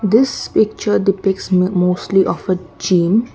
this picture the defects mostly of a gym.